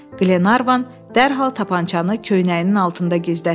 Qlenarvan dərhal tapançanı köynəyinin altında gizlətdi.